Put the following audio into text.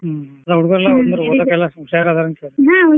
ಹ್ಮ್ ಅಂದ್ರ ಹುಡ್ಗುರೆಲ್ಲಾ ಓದಾಕೆಲ್ಲ ಹುಷಾರ್ ಅದರ್ ಅಂತಾತು